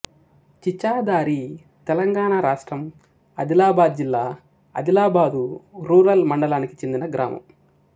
చిచాధారితెలంగాణ రాష్ట్రం ఆదిలాబాదు జిల్లా అదిలాబాదు రూరల్ మండలానికి చెందిన గ్రామం